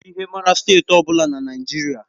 E ji ihe mara Steeti ọ bụla dị na Naịjirịa.